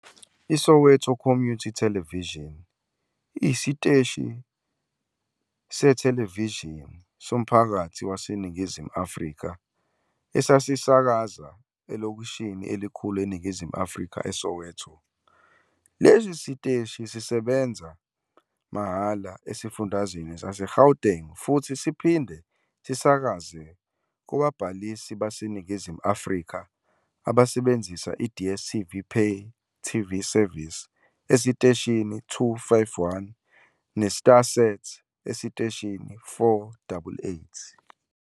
ISoweto Community Television, Soweto TV, iyisiteshi sethelevishini somphakathi waseNingizimu Afrika esisakaza elokishini elikhulu eNingizimu Afrika, eSoweto. Lesi siteshi sisebenza mahhala esifundazweni saseGauteng futhi siphinde sisakaze kubabhalisi baseNingizimu Afrika abasebenzisa i- DStv pay TV service esiteshini 251 neStarsat esiteshini 488.